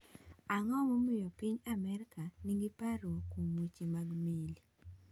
Ang’o momiyo piny Amerka nigi parruok kuom weche mag meli?